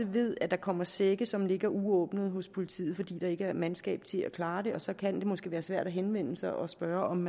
ved at der kommer sække som ligger uåbnede hos politiet fordi der ikke er mandskab til at klare det og så kan det måske være svært at henvende sig og spørge om